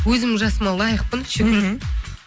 өзімнің жасыма лайықпын шүкір